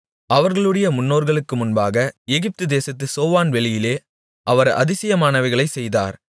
அவர்களுடைய முன்னோர்களுக்கு முன்பாக எகிப்து தேசத்துச் சோவான் வெளியிலே அவர் அதிசயமானவைகளைச் செய்தார்